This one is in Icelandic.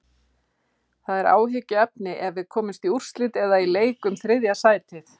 Það er áhyggjuefni ef við komumst í úrslit eða í leik um þriðja sætið.